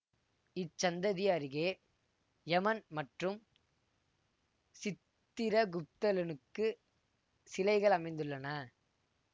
இச்சந்ததி அருகே யமன் மற்றும் சித்திரகுப்தலனுக்கு சிலைகள் அமைந்துள்ளன